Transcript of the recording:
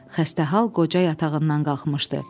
Xəstəhal qoca yatağından qalxmışdı.